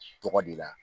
Tɔgɔ de la